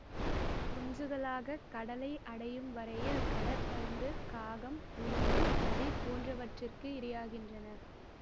குங்சுகளாக கடலை அடையும் வரையில் கடற் பருந்து காகம் உடும்பு நரி போன்றவற்றிற்கு இரையாகின்றன